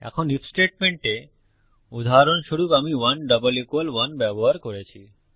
এখন IF statement এ উদাহরণস্বরূপ আমি 1 1 ব্যবহার করেছি